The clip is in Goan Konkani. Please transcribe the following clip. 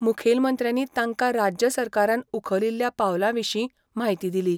मुखेलमंत्र्यांनी तांकां राज्य सरकारान उखलिल्ल्या पावलां विशीं म्हायती दिली.